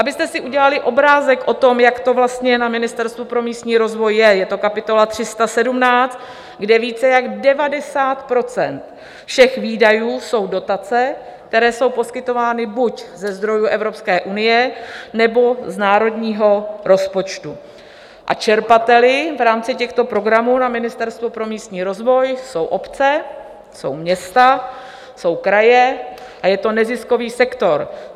Abyste si udělali obrázek o tom, jak to vlastně na Ministerstvu pro místní rozvoj je, je to kapitola 17, kde více než 90 % všech výdajů jsou dotace, které jsou poskytovány buď ze zdrojů Evropské unie, nebo z národního rozpočtu a čerpateli v rámci těchto programů na Ministerstvu pro místní rozvoj jsou obce, jsou města, jsou kraje a je to neziskový sektor.